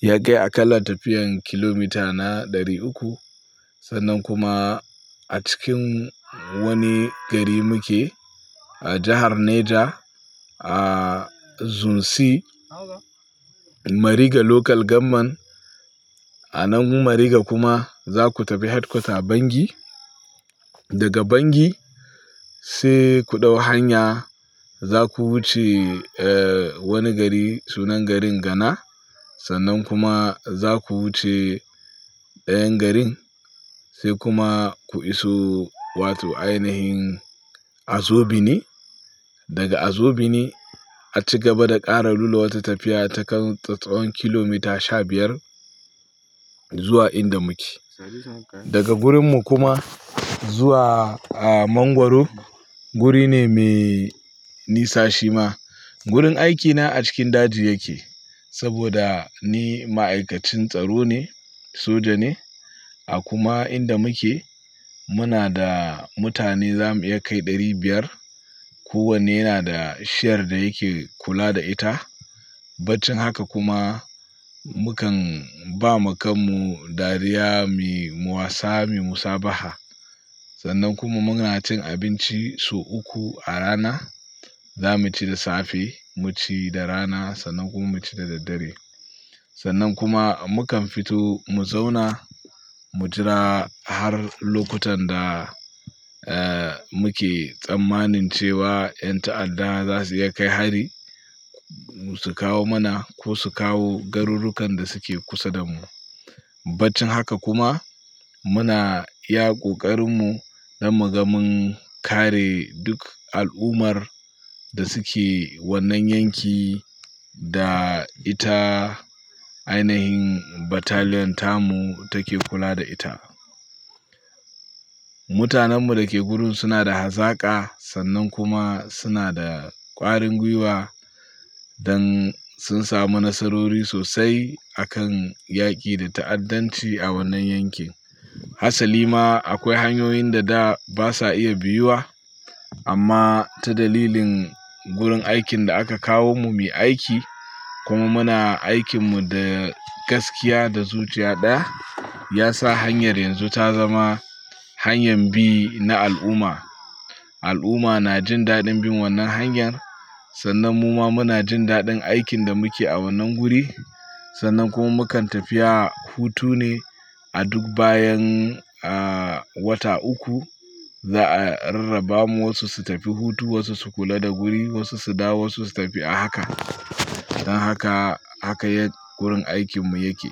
ya kai a kalla tafiyan kilomita na ɗari uku. Sannan kuma a cikin wani gari muke a jahar Neja, a Zumsi Mariga Local Government. A nan Mariga kuma za ku tafi Headquarters Bangui. Daga Bangui sai ku ɗau hanya za ku wuce wani gari sunan garin Gana. Sannan kuma za ku wuce ɗayan garin sai kuma ku iso wato ainahin Azobini. Daga Azobini a cigaba da ƙara lura wata tafiya ta tsawon kilomita shabiyar zuwa inda muke. Daga wurinmu kuma zuwa Mangwaro wuri ne mai nisa shi ma. Wurin aikina a cikin daji yake saboda ni ma'aikacin tsaro ne soja ne. A kuma inda muke muna da mutane za mu iya kai ɗari biyar. Ko wanne yana da shiyar da yake kula da ita. Battin haka kuma mukan ba ma kanmu dariya mu wasa mu musabaha. Sannan kuma muna cin abinci sau uku a rana. Za mu ci da safe, mu ci da rana sannan kuma mu ci da daddare. Sannan kuma mukan fito mu zauna mu jira har lokutan da muke tsammanin cewa ƴan ta'adda za su iya kai hari su kawo mana ko su kawo garurukan da suke kusa da mu. Battin haka kuma muna iya ƙoƙarinmu na muga mun kare duk al'ummar da suke wannan yankin da ita ainahin Battalion tamu take kula da ita. Mutanen mu da ke wurin suna da hazaka sannan kuma suna da ƙwarin gwiwa don sun samu nasarori sosai a kan yaƙi da ta'addanci a wannan yankin. Hassali ma akwai hanyoyin da da ba sa iya biyuwa amma ta dalilin wurin aikin da aka kawo mu mu yi aiki kuma muna aikinmu da gaskiya da zuciya ɗaya ya sa hanyar yanzu ta zama hanyar bi na al'umma. Al'umma na jin daɗin bin wannan hanyar sannan muma muna jin daɗin aikin da muke a wannan guri. Sannan kuma mukan tafi hutu ne a duk bayan wata uku. Za a rarraba mu wasu su tafi hutu wasu su kula da guri wasu su dawo wasu su tafi a haka. Don haka haka yadda wurin aikinmu yake.